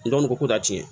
N dɔgɔnin ko da ti